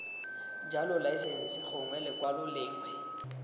jalo laesense gongwe lekwalo lengwe